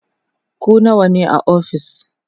ku nawa ne a ofis?